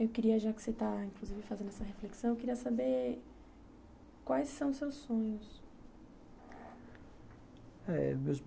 Eu queria, já que você está fazendo inclusive essa reflexão, eu queria saber quais são os seus sonhos.